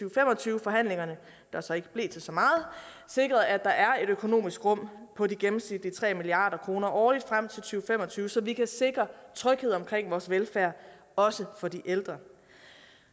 og fem og tyve forhandlingerne der så ikke blev til så meget sikret at der er et økonomisk rum på de gennemsnitlige tre milliard kroner årligt frem til og fem og tyve så vi kan sikre tryghed omkring vores velfærd også for de ældre